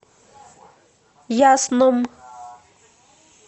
ясном